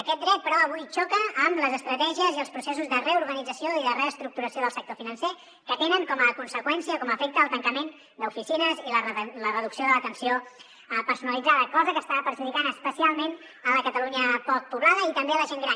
aquest dret però avui xoca amb les estratègies i els processos de reorganització i de reestructuració del sector financer que tenen com a conseqüència com a efecte el tancament d’oficines i la reducció de l’atenció personalitzada cosa que està perjudicant especialment la catalunya poc poblada i també la gent gran